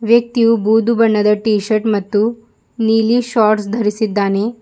ವ್ಯಕ್ತಿಯು ಬೂದು ಬಣ್ಣದ ಟೀ ಶರ್ಟ್ ಮತ್ತು ನೀಲಿ ಶೋರ್ಟ್ಸ್ ಧರಿಸಿದ್ದಾನೆ.